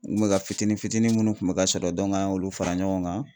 N kun bɛ ka fitini fitini munnu kun bɛ ka sɔrɔ an y'olu fara ɲɔgɔn kan.